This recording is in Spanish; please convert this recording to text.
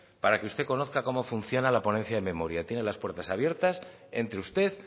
para que usted conozca cómo funciona la ponencia de memoria tiene las puerta abiertas entre usted